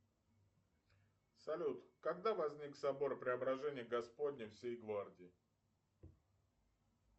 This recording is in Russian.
салют когда возник собор преображения господня всей гвардии